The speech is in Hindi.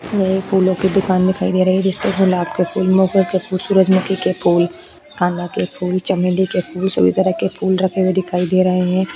यह एक फूलो की दुकान दिखाई दे रही है जिसपे गुलाब के फूल मोगे के फूल सूरजमुखी के फूल कांदा के फूल चमेली के फूल सभी तरह के फूल रखे हुए दिखाई दे रहे हैं।